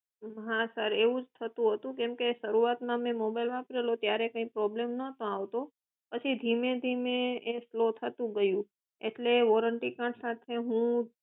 હા સર એવું જ થતું હતું કેમકે શરૂઆતમાં મેં જયારે mobile વાપર્યો ત્યારે કઈ problem નહોતો આવતો પછી ધીમે ધીમે એ સ્લો થતું ગયું એટલે વોરંટી કાર્ડ સાથે હું